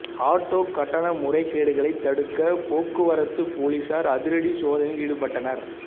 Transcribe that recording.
auto கட்டண முறைகேடுகளை தடுக்க போக்குவரத்து போலீசார் அதிரடி சோதனையில் ஈடுபட்டனர்